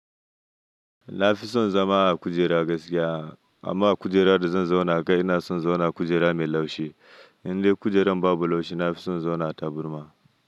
Na fi son zama a kujera gaskiya. Amma a kujera da zan zauna kai ina son zauna kujera mai laushi. Indai kujerar babu laushi na fi son zauna a taburma.